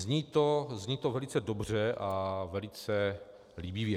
Zní to velice dobře a velice líbivě.